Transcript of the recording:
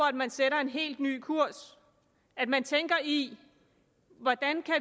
at man sætter en helt ny kurs at man tænker i hvordan